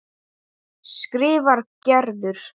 skrifar Gerður.